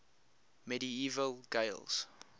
medieval gaels